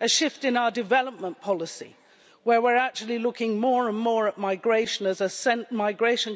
A shift in our development policy where we're actually looking more and more at migration